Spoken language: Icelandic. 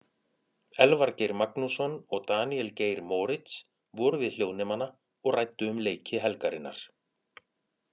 Elvar Geir Magnússon og Daníel Geir Moritz voru við hljóðnemana og ræddu um leiki helgarinnar.